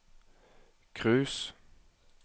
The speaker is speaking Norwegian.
cruise